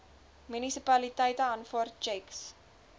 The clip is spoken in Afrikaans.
munisipaliteite aanvaar tjeks